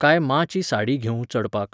काय माँची साडी घेवूं चडपाक?